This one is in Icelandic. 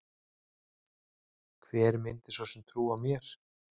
Hver myndi svo sem trúa mér?